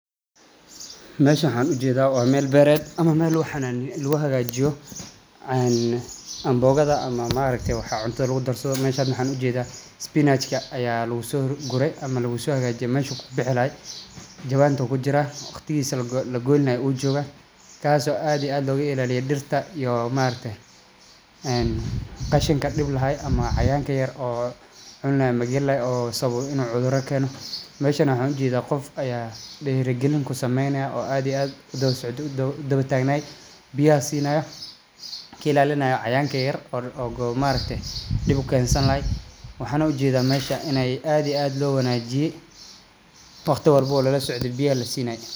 Meshan waxan ujethaa wa Mel bored ama Mel waxan ujednaa laguhagajiyoo ambogathaaa ama maaragte waxa cuntathaa lagudarsathoo meshan waxan ujethaa spinach aya lagusoguree ama lagusohagajiye meshu kubuxilaahay jawant bukujiraa waqtigisa lagoynilahag ujogaa tas o and iyo add logailaliyee dirtaa iyo maaragte en qashinka dibahayo cayayanka yaryar oo cunilahaa ama galilahaa o rabo inu cuthura kenoo meshan ne waxan ujethaa qof aya diri galin kusameyniyaa o add iyo add udawasocde udawatagnaay biyaxaa sinaya kailalinayoo cayayanka yaryar o maaragte dib ukensanlaahy waxana ujetha Mel add iyo add lowanajiye waqti walbo lalasocdee biyaha lasinay